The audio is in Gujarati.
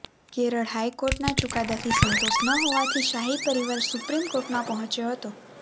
કેરળ હાઈકોર્ટના ચુકાદાથી સંતોષ ન હોવાથી શાહી પરિવાર સુપ્રીમ કોર્ટમાં પહોચ્યો હતો